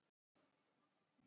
Meira til koma.